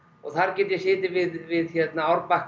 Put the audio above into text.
þar get ég setið við árbakkann